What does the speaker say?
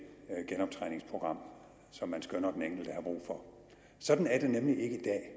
genoptræningsprogram som man skønner den enkelte har brug for sådan er det nemlig ikke